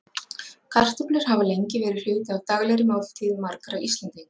Kartöflur hafa lengi verið hluti af daglegri máltíð margra Íslendinga.